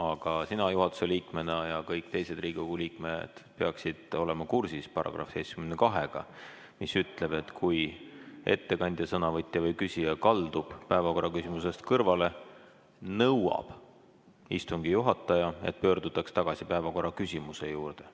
Aga sina juhatuse liikmena ja kõik teised Riigikogu liikmed peaksid olema kursis §-ga 72, mis ütleb: "Kui ettekandja, sõnavõtja või küsija kaldub päevakorraküsimusest kõrvale, nõuab istungi juhataja, et pöördutaks tagasi päevakorraküsimuse juurde.